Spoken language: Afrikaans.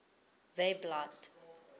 webblad